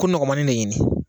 Ko nɔgɔmannin ne ɲini